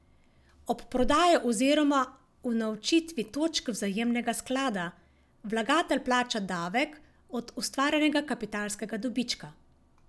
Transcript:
Ob prodaji oziroma unovčitvi točk vzajemnega sklada vlagatelj plača davek od ustvarjenega kapitalskega dobička.